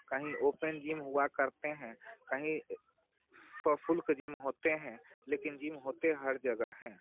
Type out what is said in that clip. कहीं open gym हुआ करते हैं कहीं सोशल जिम होते हैं लेकिन जिम होते हर जगह हैं।